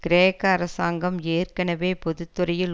கிரேக்க அரசாங்கம் ஏற்கனவே பொது துறையில்